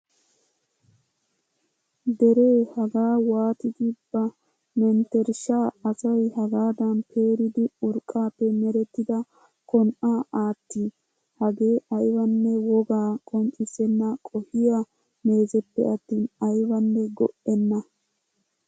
Deree hagaa waatidi ba menttershshaa asay hagaadan peeridi urqqaappe merettida kon"aa aattii? Hagee aybanne wogaa qonccisenna qohiyaa meezeppe attin aybanne go"enna!